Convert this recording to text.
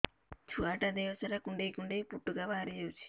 ଛୁଆ ଟା ଦେହ ସାରା କୁଣ୍ଡାଇ କୁଣ୍ଡାଇ ପୁଟୁକା ବାହାରି ଯାଉଛି